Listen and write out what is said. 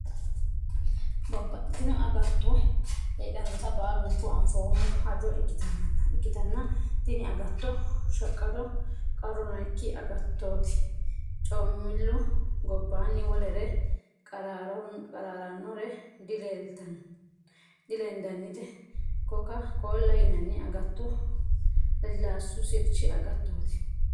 Babbaxxitino dani agatto heedhanotta baalunku anfoommo hajo ikkittanna tini agatto shaqqado qarru noyikki agattoti coomilu gobbanni wolere qararanore dilendannite koka-kolla yinanni agato lasilasu sirchi agattoti.